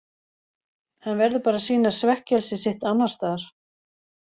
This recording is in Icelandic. Hann verður bara að sýna svekkelsi sitt annars staðar.